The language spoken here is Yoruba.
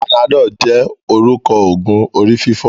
Panadol jé orúkọ ogun orí-fífọ́.